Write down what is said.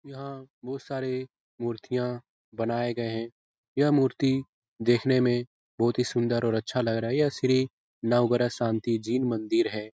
यहां बहुत सारे मूर्तियां बनाये गए है यह मूर्ति देखने में बहुत ही सुंदर और अच्छा लग रहा है यह श्री नवग्रह शान्ति जैन मंदिर है।